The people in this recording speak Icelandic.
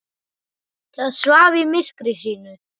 Það svaf í myrkri sínu.